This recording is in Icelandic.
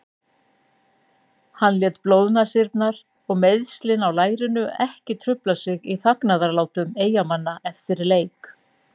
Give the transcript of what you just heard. Hann lét blóðnasirnar og meiðslin á lærinu ekki trufla sig í fagnaðarlátum Eyjamanna eftir leik.